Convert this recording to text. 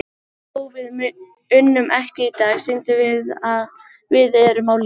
Þó við unnum ekki í dag, sýndum við að við erum á lífi.